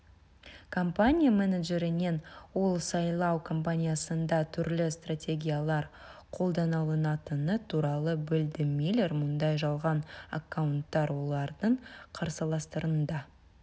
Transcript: компания менеджерінен ол сайлау компаниясында түрлі стратегиялар қолданылатыны туралы білді миллер мұндай жалған аккаунттар олардың қарсыластарында